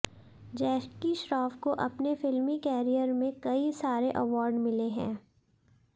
जैकी श्रॉफ को अपने फिल्मी करियर में कई सारे अवॉर्ड मिले हैं